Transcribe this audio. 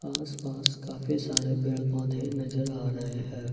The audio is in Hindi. आसपास काफी सारे पेड़ पौधे नजर आ रहे हैं।